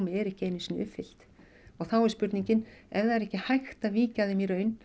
eru ekki einu sinni uppfyllt þá er spurningin ef það er ekki hægt að víkja þeim